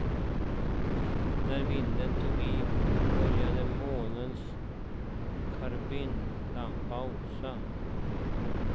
När vinden tog i började månens karbidlampa osa.